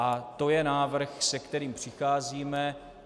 A to je návrh, s kterým přicházíme.